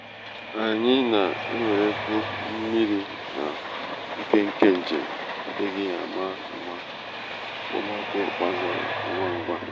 anyị na-ewerekwu mmiri n'oa nkenke njem adịghị ama ama okpomọkụ gbagoro ngwa ngwa.